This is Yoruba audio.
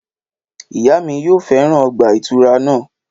Ìyá mi yóò fẹràn ọgbà ìtura na